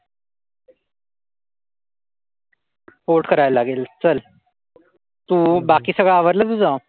Port करायला लागेल चल तू, बाकी सगळं आवरलं तुझं?